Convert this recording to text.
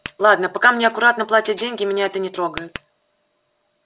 ладно пока мне аккуратно платят деньги меня это не трогает